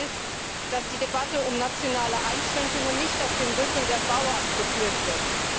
Wichtig ist, dass die Debatte um nationale Einschränkungen nicht auf dem Rücken der Bauern geführt wird.